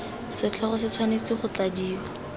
setlhogo se tshwanetse go tladiwa